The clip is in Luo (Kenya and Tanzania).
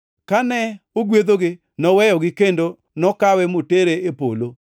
Kane ogwedhogi, noweyogi kendo nokawe motere e polo.